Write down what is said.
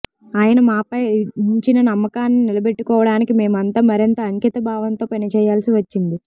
ఆయన మాపై ఉంచిన నమ్మకాన్ని నిలబెట్టుకోవడానికి మేమంతా మరింత అంకితభావంతో పనిచేయాల్సి వచ్చింది